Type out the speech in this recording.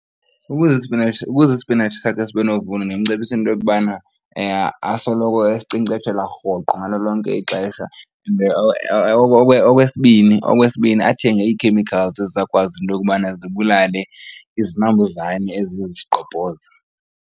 Ukuze isipinatshi, ukuze isipinatshi sakhe sibe novuno ndimcebisa into yokubana asoloko esinkcenkceshela rhoqo ngalo lonke ixesha. Okwesibini, okwesibini athenge ii-chemicals ezizakwazi into yokubana zibulale izinambuzane eziye zisigqobhoze.